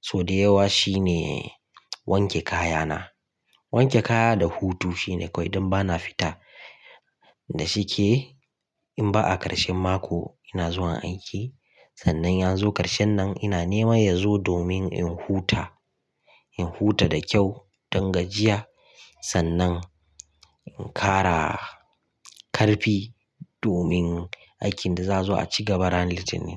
sau da yawa shine wanke kaya na. Wanke kaya da hutu shine kawai idan bana fita. Da shike in ba a ƙarshen mako ina zuwa aiki sannan yazo ƙarshen nan ina nema ya zo domin in huta. In huta da kyau don gajiya, sannan in ƙara ƙarfi domin aikin da zazo a cikin bara litinin.